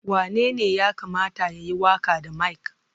Wanene ya kamata ya yi waƙa da mic?